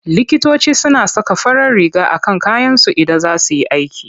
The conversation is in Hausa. Likitoci suna saka farar riga a kan kayansu Idan za su yi aiki.